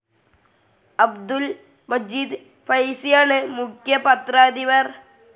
അബ്ദുൽ മജീദ് ഫൈസിയാണ് മുഖ്യ പത്രാധിപർ.